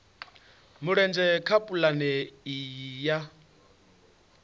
mulenzhe kha pulane iyi ya